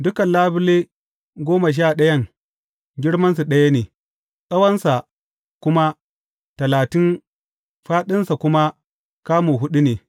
Dukan labule goma sha ɗayan girmansu ɗaya ne, tsawonsa kamu talatin, fāɗinsa kuma kamu huɗu ne.